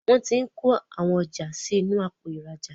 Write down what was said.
Wón t'in kọ àwọn ọjà sí inú Àpò ìrajà